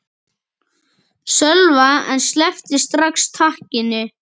Sölva en sleppti strax takinu.